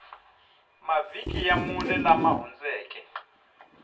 mavhiki ya mune lama hundzeke